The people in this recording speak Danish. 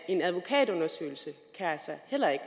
en advokatundersøgelse altså heller ikke